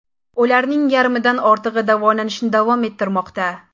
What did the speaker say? Ularning yarmidan ortig‘i davolanishni davom ettirmoqda.